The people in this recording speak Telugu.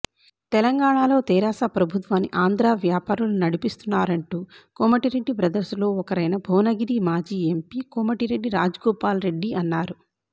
తెలంగాణలో తెరాస ప్రభుత్వాన్ని ఆంధ్రా వ్యాపారులు నడిపిస్తున్నారంటూ కోమటిరెడ్డి బ్రదర్స్లో ఒకరైన భువనగిరి మాజీ ఎంపీ కోమటిరెడ్డి రాజ్గోపాల్రెడ్డి అన్నారు